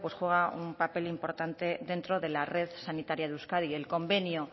juega un papel importante dentro de la red sanitaria de euskadi el convenio